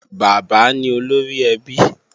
Bàbá ní olórí ẹbí